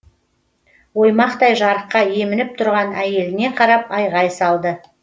оймақтай жарыққа емініп тұрған әйеліне қарап айғай салды